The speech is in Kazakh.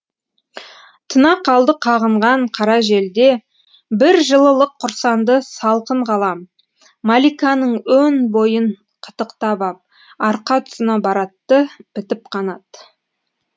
тына қалды қағынған қара жел де бір жылылық құрсанды салқын ғалам мәликаның өн бойын қытықтап ап арқа тұсына баратты бітіп қанат